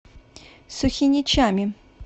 сухиничами